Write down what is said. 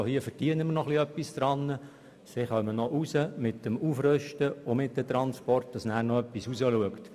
So wird wenigstens noch etwas daran verdient und mit dem Transport und dem Aufrüsten schaut sogar noch etwas heraus.